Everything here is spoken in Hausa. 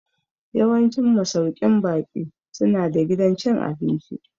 Yawancin masauƙin baƙi su na da gidan cin abinci